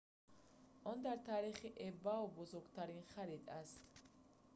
он дар таърихи ebay бузургтарин харид аст